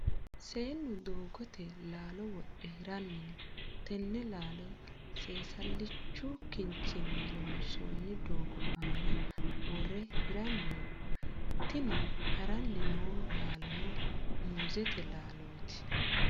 Seenu doogote laalo wodhe hiranni no. Tenne laalo seesalichu kinchinni loonsoonni doogo aanna wore hiranni no. Tinni haranni noo laalono muuzete laalooti.